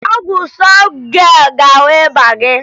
Ọgwụ Sọfjel ga-agwọ ịba gị